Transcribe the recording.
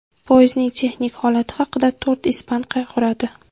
Poyezdning texnik holati haqida to‘rt ispan qayg‘uradi.